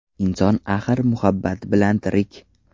Inson axir muhabbat bilan tirik.